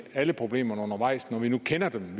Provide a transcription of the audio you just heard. alle problemerne undervejs når vi nu kender dem